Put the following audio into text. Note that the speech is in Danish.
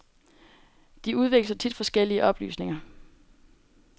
De udveksler tit forskellige oplysninger.